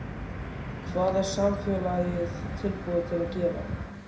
Hvað er samfélagið tilbúið til að gera?